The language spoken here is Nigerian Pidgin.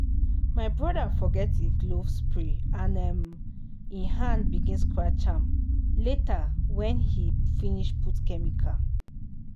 my brother forget e glove spray and um e hand begin scratch am later when he finish put chemical.